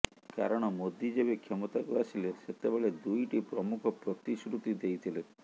କାରଣ ମୋଦି ଯେବେ କ୍ଷମତାକୁ ଆସିଲେ ସେତେବେଳେ ଦୁଇଟି ପ୍ରମୂଖ ପ୍ରତିଶ୍ରୁତି ଦେଇଥିଲେ